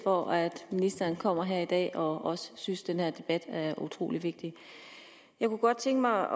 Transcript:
for at ministeren kommer her i dag og også synes at den her debat er utrolig vigtig jeg kunne godt tænke mig